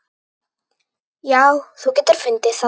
Já, þú getur fundið það.